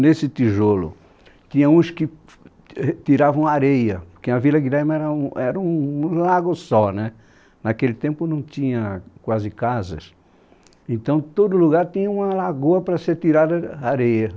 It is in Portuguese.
Nesse tijolo, tinha uns que t eh tiravam areia, porque a Vila Guilherme era um era um um lago só, naquele tempo não tinha quase casas, então todo lugar tinha uma lagoa para ser tirada areia.